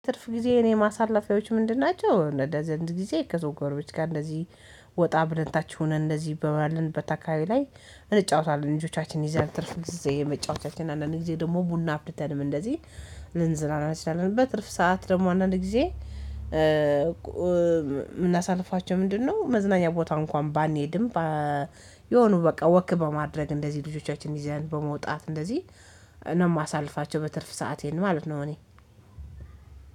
ትርፍ ጊዜ እኔ ማሳለፊያዎች ምንድን ናቸው? አንድ አንድ ጊዜ ከጎርቤት ጋር እንደዚህ ወጣ ብለን ታች ሆነን እንደዚህ ባለንበት አካባቢ ላይ። እንጫወታለን ልጆቻችን ይዘን ትርፍ ጊዜ መጫወቻችን አንዳንድ ጊዜ ደግሞ ቡና አፍልተን እንደዚህ ልንዝናና እንችላለን። በትርፍ ሰዓት ደግሞ አንዳንድ ጊዜ የምናሳልፋቸው ምንድነው መዝናኛ ቦታ እንኳን ባንሄድም። የሆነ በቃ ወክ በማድረግ እንደዚህ ልጆቻችን ይዘን በመውጣት እንደዚህ ነው ማሳልፋቸው በትርፍ ሰአቴን ማለት ነው። እኔ